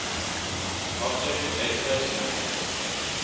object database management